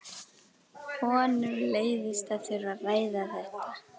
Honum leiðist að þurfa að ræða þetta.